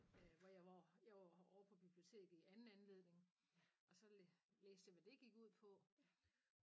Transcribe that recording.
Øh hvor jeg var jeg var ovre på biblioteket i anden anledning og så læ læste jeg hvad det gik ud på